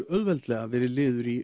auðveldlega verið liður í